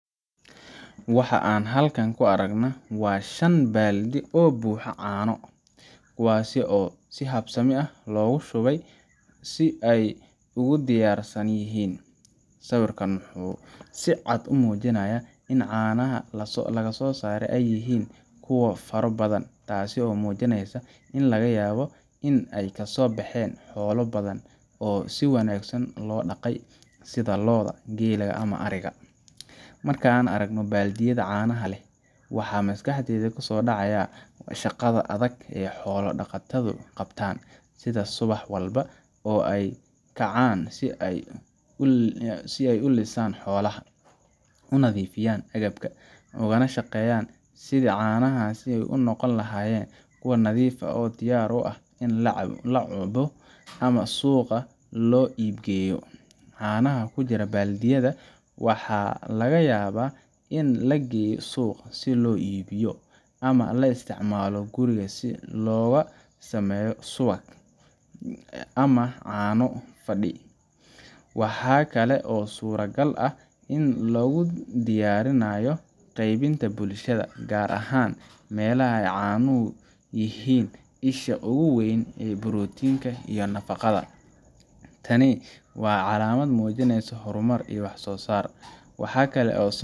Waxa aan halkan ka aragnaa waa shan baaldi oo buuxa caano ah, kuwaas oo si habsami leh loogu shubay si ay u diyaarsan yihiin. Sawirkan wuxuu si cad u muujinayaa in caanaha la soo saaray ay yihiin kuwo faro badan, taasoo muujinaysa in laga yaabo in ay kasoo bexeen xoolo badan oo si wanaagsan loo dhaqay sida lo’da, geela ama ariga. Marka aan arko baaldiyada caanaha leh, waxaa maskaxdayda kusoo dhacaya shaqada adag ee xoolo-dhaqatadu qabtaan sida subax walba oo ay u kacaan si ay u lisaan xoolaha, u nadiifiyaan agabka, ugana shaqeeyaan sidii caanahaasi u noqon lahaayeen kuwo nadiif ah oo diyaar u ah in la cuno ama suuqa loo iib geeyo. Caanaha ku jira baaldiyada waxa laga yaabaa in la geeyo suuq si loo iibiyo, ama loo isticmaalo guriga si looga sameeyo subag, ama caano fadhi. Waxaa kale oo suuragal ah in loo diyaarinayo qeybinta bulshada, gaar ahaan meelaha ay caanuhu yihiin isha ugu weyn ee borotiinka iyo nafaqada. Tani waa calaamad muujinaysa horumar iyo wax soosaar. Waxa kale oo